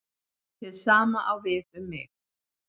Hið sama á við um mig.